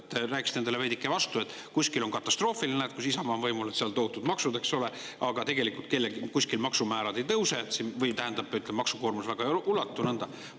Te rääkisite endale veidike vastu: kuskil on katastroof, näed, seal, kus Isamaa on võimul, on tohutud maksud, aga tegelikult kellelgi kuskil maksumäärad ei tõuse, või tähendab, maksukoormus väga ei.